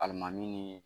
Alimami ni